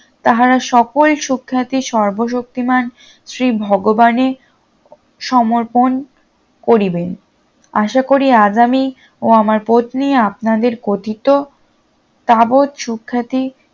তাহারা সকল সুখ্যাতি সর্ব শক্তিমান শ্রী ভগবানের সমর্পণ করিবেন আশা করি আগামি ও আমার পত্নী আপনাদের কথিত তাবড় সুখ্যাতি